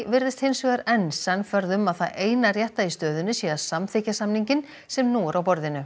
virðist hins vegar enn sannfærð um að það eina rétta í stöðunni sé að samþykkja samninginn sem nú er á borðinu